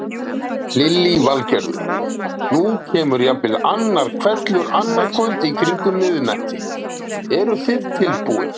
Lillý Valgerður: Nú kemur jafnvel annar hvellur annað kvöld í kringum miðnætti, eru þið tilbúin?